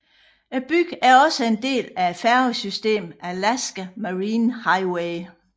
Byen er også en del af færgesystemet Alaska Marine Highway